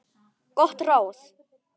Gott ráð.